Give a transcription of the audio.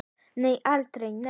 Nei, aldrei, nei!